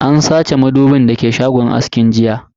An sace madubin da ke shagon askin jiya.